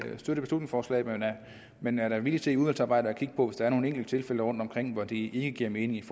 støtte beslutningsforslaget men er da villige til i udvalgsarbejdet at kigge på der er nogle enkelte tilfælde rundt omkring hvor det ikke giver mening